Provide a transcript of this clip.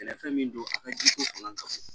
Sɛnɛfɛn min don a ka di ko fanga ka kan